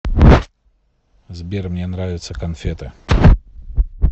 сбер мне нравятся конфеты